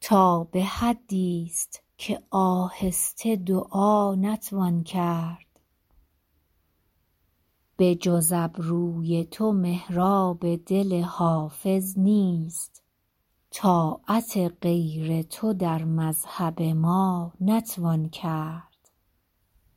تا به حدیست که آهسته دعا نتوان کرد بجز ابروی تو محراب دل حافظ نیست طاعت غیر تو در مذهب ما نتوان کرد